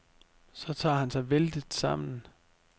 Så tager han sig vældigt sammen.